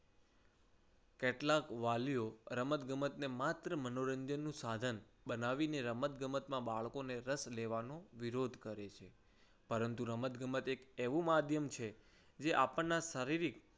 કેટલાક વાલીઓ રમતગમતને માત્ર મનોરંજન નું સાધન બનાવીને રમતગમતમાં બાળકોને રસ લેવાનો વિરોધ કરે છે. પરંતુ રમતગમત એક એવું માધ્યમ છે જે આપણના શારીરિક